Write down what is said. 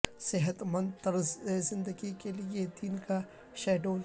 صحت مند طرز زندگی کے لئے دن کا شیڈول